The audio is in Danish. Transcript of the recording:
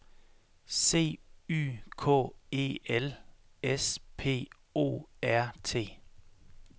C Y K E L S P O R T